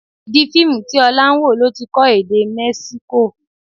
Ìdí Fíìmù tí Ọlá ń wò ló ti kọ́ èdè Mexico